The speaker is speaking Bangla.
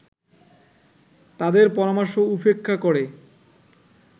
তাদের পরামর্শ উপেক্ষা করে